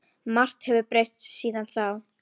Margt hefur breyst síðan þá.